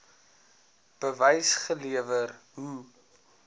bewys gelewer hoe